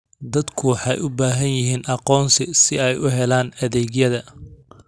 Dadku waxay u baahan yihiin aqoonsi si ay u helaan adeegyada.